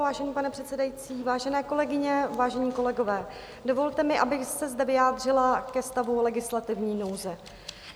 Vážený pane předsedající, vážené kolegyně, vážení kolegové, dovolte mi, abych se zde vyjádřila ke stavu legislativní nouze.